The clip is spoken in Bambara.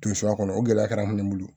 Tun suya kɔnɔ o gɛlɛya kɛra an bolo